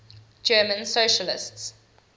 german socialists